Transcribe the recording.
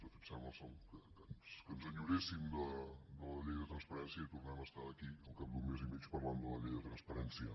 de fet sembla que ens enyoréssim de la llei de transparència i tornem a estar aquí al cap d’un mes i mig parlant de la llei de transparència